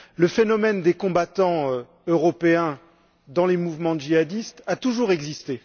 Le phénomène des combattants européens dans les mouvements djihadistes a toujours existé.